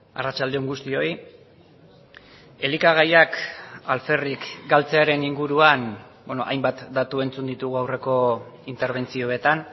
arratsalde on guztioi elikagaiak alferrik galtzearen inguruan hainbat datu entzun ditugu aurreko interbentzioetan